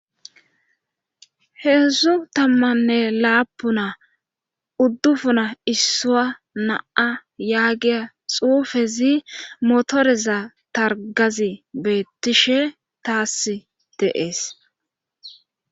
heedzdzu tammanne laapuna uddufuna issua naa yaagiya xuufezi motoreza targazi beettishe taas deees